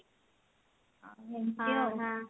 ଆଉ ଏମତି ଆଉ